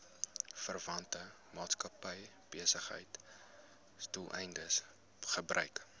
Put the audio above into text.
verwante maatskappybesigheidsdoeleindes gebruik